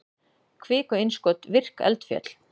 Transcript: kviku-innskot virk eldfjöll